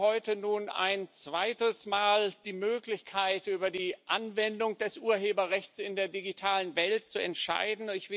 Wir haben heute nun ein zweites Mal die Möglichkeit, über die Anwendung des Urheberrechts in der digitalen Welt zu entscheiden.